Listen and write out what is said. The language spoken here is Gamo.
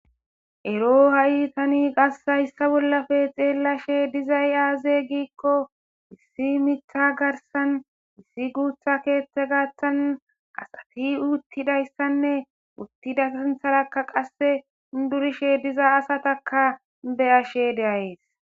Ero ha'i tani qasshayssa bollafe xeellashe dizay aaze giikko issi mitha garsan missi guutha keethte gaathan asati uuttidayssanne uttida santharakka qasse durishe diza asataka be ashe deayes